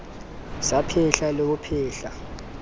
sa phetla le ho phetla